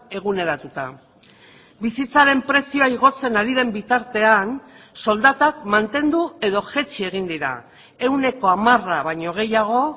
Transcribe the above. eguneratuta bizitzaren prezioa igotzen ari den bitartean soldatak mantendu edo jaitsi egin dira ehuneko hamara baino gehiago